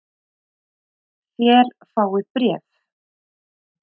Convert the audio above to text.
Þér fáið bréf!